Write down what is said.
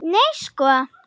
Nei sko!